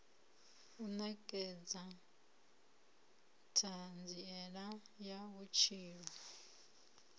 u nekedza thanziela ya vhutshilo